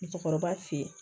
Musokɔrɔba fe yen